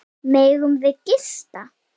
Megum við gista?